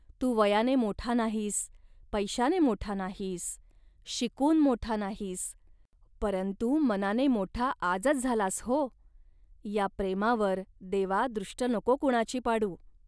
तू वयाने मोठा नाहीस, पैशाने मोठा नाहीस, शिकून मोठा नाहीस, परंतु मनाने मोठा आजच झालास, हो. या प्रेमावर, देवा, दृष्ट नको कुणाची पाडू